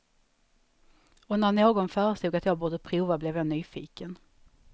Och när någon föreslog att jag borde prova blev jag nyfiken.